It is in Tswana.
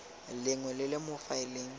lengwe le le mo faeleng